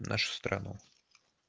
нашу страну